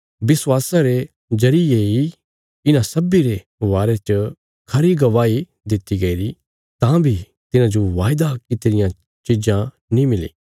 विश्वासा रे जरिये इ इन्हां सब्बीं रे बारे च खरी गवाही दित्ति गईरी तां बी तिन्हांजो वायदा कित्ती रियां चीज़ नीं मिली